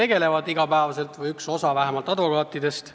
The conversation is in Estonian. Vähemalt teeb seda üks osa advokaatidest.